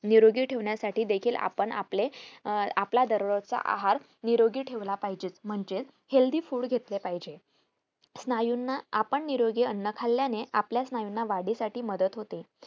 निरोगी ठेवण्यासाठी देखील आपण आपले अं आपला दररोजचा आहार निरोगी ठेवला पाहहिजे म्हणजे healthy food घेतले पाहिजे स्नायूना आपण निरोगी अन्न खाल्यानेआपल्या स्नायूना वाढी साठी मदत होते